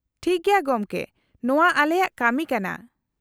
-ᱴᱷᱤᱠ ᱜᱮᱭᱟ ᱜᱚᱢᱠᱮ, ᱱᱚᱶᱟ ᱟᱞᱮᱭᱟᱜ ᱠᱟᱹᱢᱤ ᱠᱟᱱᱟ ᱾